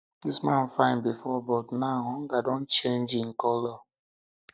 dis man fine before but now hunger don change hunger don change him colour